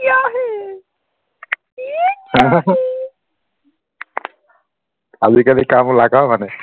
কাম ওলায় ক মানে